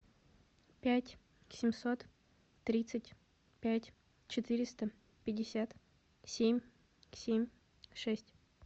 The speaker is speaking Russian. пять семьсот тридцать пять четыреста пятьдесят семь семь шесть